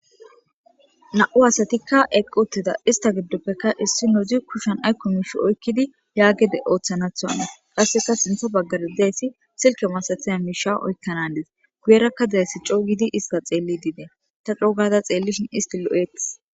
Na'u asatika eqi utida ista gidopekka issinoz kushan ayko mish oykid ya gede othanatho qaseka sinthe bagan dizays silke masatiza musha oykana Hanes guyeraka dizays Co gid ista xelid Des . Ta co gada xelishn ist lo'etes.